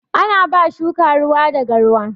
Ana ba shuka ruwa da garwa